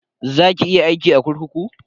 Za ki iya aiki a kurkuku?